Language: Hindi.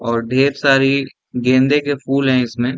और ढेर सारी गेंदे के फूल हैं इसमें।